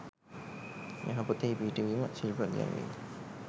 යහපතෙහි පිහිටුවීම, ශිල්ප ඉගැන්වීම,